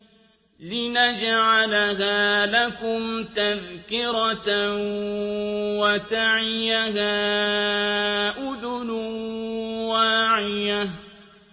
لِنَجْعَلَهَا لَكُمْ تَذْكِرَةً وَتَعِيَهَا أُذُنٌ وَاعِيَةٌ